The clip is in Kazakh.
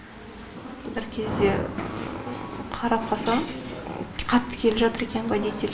бір кезде қарап қалсам қатты келе жатыр екен водитель